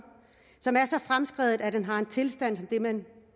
som er så fremskreden at man har en tilstand som den